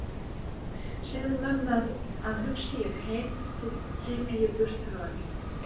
Segðu mömmu að hugsi ég heim þó hlypi ég burt öllu frá.